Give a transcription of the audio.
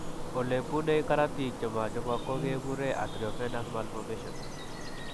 Ole bune karotiik che machopok ko kekure arteriovenous malformations .